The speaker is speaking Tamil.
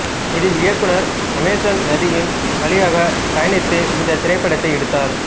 இதில் இயக்குனர் அமேசன் நதியின் வழியாகப் பயணித்து இந்தத் திரைப்படத்தை எடுத்தார்